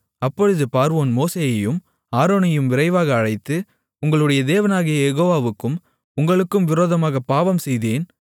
அப்பொழுது பார்வோன் மோசேயையும் ஆரோனையும் விரைவாக அழைத்து உங்களுடைய தேவனாகிய யெகோவாவுக்கும் உங்களுக்கும் விரோதமாகப் பாவம் செய்தேன்